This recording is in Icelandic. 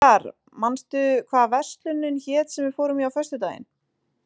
Sigarr, manstu hvað verslunin hét sem við fórum í á föstudaginn?